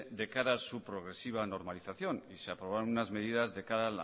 de cara a su progresiva normalización se aprobaron unas medidas de cara